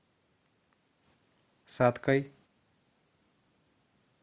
саткой